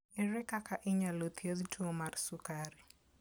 Ere kaka inyalo thiedh tuwo mar sukari?